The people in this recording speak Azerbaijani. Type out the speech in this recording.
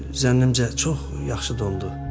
Zənnimcə çox yaxşı dondur.